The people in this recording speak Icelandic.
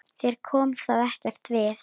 Þér kom það ekkert við!